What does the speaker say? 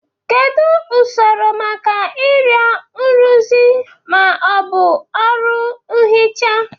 Kedu usoro maka ịrịọ nrụzi ma ọ bụ ọrụ nhicha?